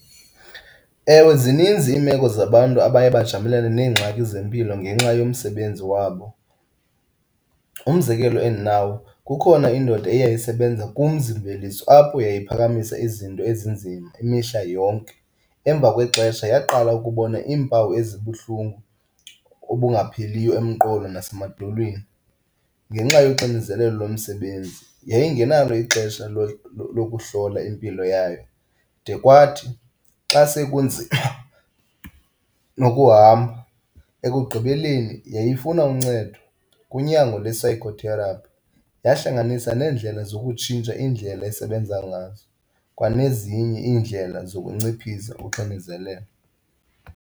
Ewe, zininzi iimeko zabantu abaye bajamelane neengxaki zempilo ngenxa yomsebenzi wabo. Umzekelo endinawo, kukhona indoda eyayisebenza kumzi-mveliso apho yayiphakamisa izinto ezinzima imihla yonke. Emva kwexesha yaqala ukubona iimpawu ezibuhlungu obungapheliyo emqolo nasemadolweni. Ngenxa yoxinzelelo lomsebenzi yayingenalo ixesha lokuhlola impilo yayo de kwathi xa sekunzima nokuhamba, ekugqibeleni yayifuna uncedo kunyango lwesayikhotherapi. Yahlanganisa neendlela zokutshintsha iindlela esebenza ngazo kwanezinye iindlela zokunciphisa uxinizelelo.